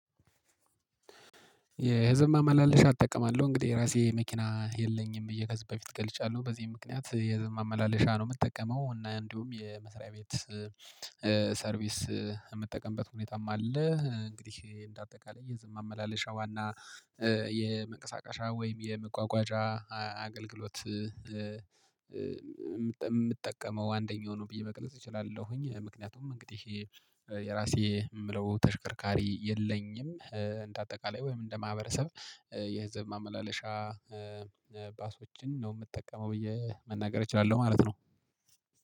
የህዝብ ማመላለሻ እጠቀማለሁ እንግዲህ የራሴ መኪና የለኝም ብዬ ከዚህ በፊት ገልጫለሁ በዚህ ምክንያት የህዝብ ማመላለሻ ነው የምጠቀመው እና እንዲሁም የመስሪያ ቤት ሰርቪስ የምጠቀምበት ሁኔታም አለ። እንግዲህ እንደ አጠቃላይ የህዝብ ማመላለሻ ዋና የመንቀሳቀሻ ወይም የመጓጓዣ አገልግሎት። የምጠቀመው አንደኛው ነው ብዬ መግለጽ እችላለሁኝ። ምክንያቱም እንግዲህ የራሴ የምለው ተሽከርካሪ የለኝም እንደ አጠቃላይ ወይም እንደ ማህበረሰብ የህዝብ ማመላለሻ ባሶችን ነው የምጠቀመው ብዬ መናገር እችላለሁ ማለት ነው